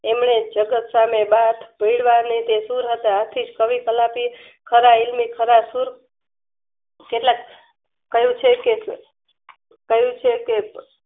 એમને જગત સામે બાથભીડવા ને તે સુર હતા આથી કવિ કલાપી ખરા હીલમી ખરા સુર કેટલાક કહેછે કે કે કહેછે કે કે